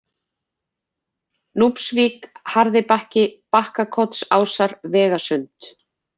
Núpsvík, Harðibakki, Bakkakotsásar, Vegasund